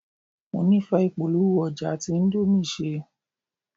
Mo nífẹ̀ẹ́ ìpolówó-ọjà tí índómì ṣe.